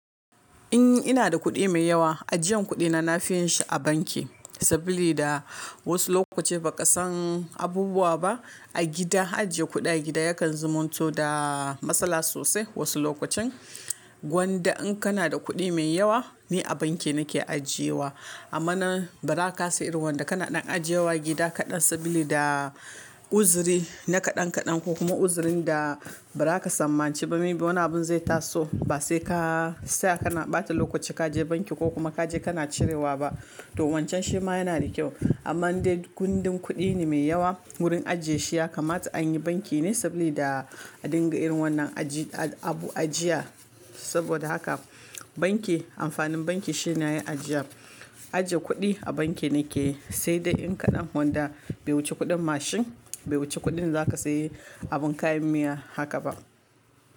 In ina da kuɗi mai yawa, ajiyan kuɗina na fi yin shi a banki sabida da wasu lokaci ba ka san abubuwa ba. A gida ajiye kudi a gida yakan zomunto da matsala sosai wasu lokacin. Wanda in kana da kuɗi mai yawa ni a banki nake ajiyewa. Amma nan ba za ka kasa irin wanda kana ɗan ajiyewa gida kaɗan sabida da uzuri na kaɗan kaɗan ko kuma uzurin da ba za ka sammanchi ba. Wani abun zai taso ba sai ka tsaya kana ɓata lokaci ka je banki ko kuma ka je kana cirewa ba. To wancan shi ma yana da kyau. Amma in dai gundin kuɗi ne mai yawa wurin ajiye shi ya kamata an yi banki ne sabida da dinga irin wannan aji abu ajiya. Saboda haka banki amfanin banki shi ne a ajiya. Ajiye kuɗi a banki ne ke sai dai in ka ɗan wanda bai wuce kuɗin mashin, bai wuce kuɗin za ka sayi abin kayan miya haka ba.